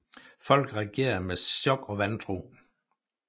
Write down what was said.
Folk reagerede med chok og vantro